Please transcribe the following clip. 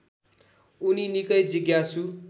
उनि निकै जिज्ञासु